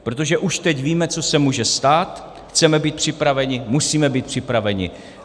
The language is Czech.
Protože už teď víme, co se může stát, chceme být připraveni, musíme být připraveni.